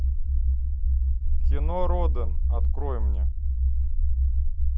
кино роден открой мне